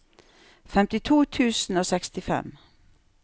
femtito tusen og sekstifem